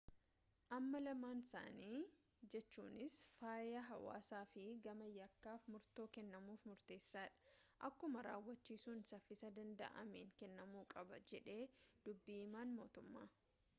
"amma lamaansaanii jechuunis fayyaa hawaasaa fi gama yakkaf murtoo kennamuf murteessa dha akkumaa raawwachisuun safiisa danda’ameen kennamuu qaba jedhe dubbi himan motummaa.